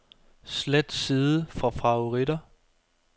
Slet side fra favoritter.